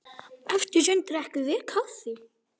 Eftir sund drekkum við kaffi.